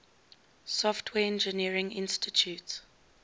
software engineering institute